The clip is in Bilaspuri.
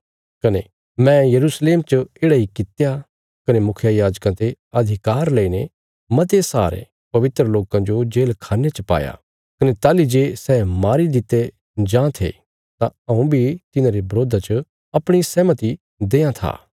कने मैं यरूशलेम च येढ़ा इ कित्या कने मुखियायाजकां ते अधिकार लईने मते सारे पवित्र लोकां जो जेलखान्ने च पाया कने ताहली जे सै मारी दित्ते जां थे तां हऊँ बी तिन्हांरे बरोधा च अपणी सहमति देआं था